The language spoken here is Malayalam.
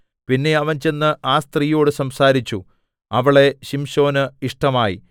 പിന്നെ അവൻ ചെന്ന് ആ സ്ത്രീയോട് സംസാരിച്ചു അവളെ ശിംശോന് ഇഷ്ടമായി